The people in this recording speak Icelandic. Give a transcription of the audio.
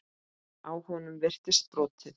Á honum virtist brotið.